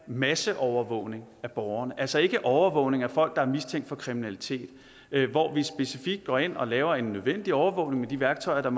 masseovervågning af borgerne altså ikke overvågning af folk der er mistænkt for kriminalitet hvor vi specifikt går ind og laver en nødvendig overvågning med de værktøjer der